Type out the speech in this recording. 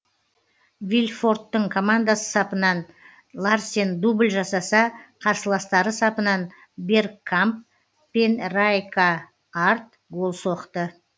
вильфорттың командасы сапынан ларсен дубль жасаса қарсыластары сапынан бергкамп пен райкаард гол соқты